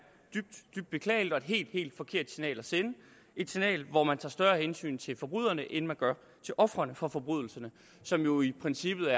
dybt dybt beklageligt og et helt helt forkert signal at sende et signal hvor man tager større hensyn til forbryderne end man gør til ofrene for forbrydelserne som jo i princippet